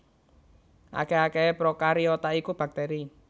Akèh akèhé prokariota iku baktèri